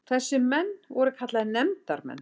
Þessir menn voru kallaðir nefndarmenn.